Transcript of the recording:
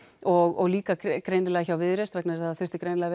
og líka greinilega hjá Viðreisn vegna þess að það þurfti greinilega